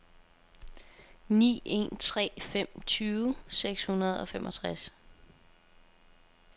ni en tre fem tyve seks hundrede og femogtres